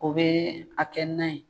O bɛ a kɛ nan ye.